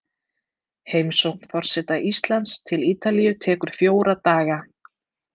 Heimsókn forseta Íslands til Ítalíu tekur fjóra daga.